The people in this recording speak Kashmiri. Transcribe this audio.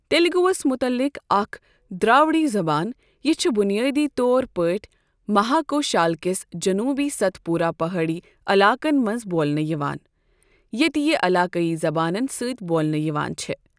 تیلگوس مُتعلق اکھ دراوڑی زبان، یہِ چھِ بنیٲدی طور پٲٹھۍ مہاکوشال کِس جنوبی ست پورہ پہٲڑی علاقن منٛز بولنہٕ یِوان، یَتہِ یہِ علاقٲئی زبانن سۭتۍ بولنہٕ یِوان چھٕ۔۔